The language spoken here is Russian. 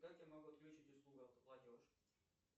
как я могу отключить услугу автоплатеж